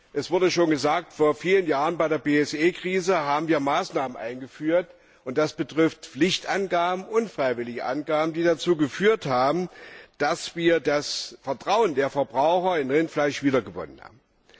Es wurde schon gesagt Vor vielen Jahren haben wir bei der BSE Krise Maßnahmen eingeführt, und das betrifft Pflichtangaben und freiwillige Angaben, die dazu geführt haben, dass wir das Vertrauen der Verbraucher in Rindfleisch wiedergewonnen haben.